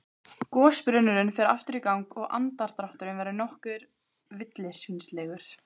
Gosbrunnurinn fer aftur í gang og andardrátturinn verður nokkuð villisvínslegur.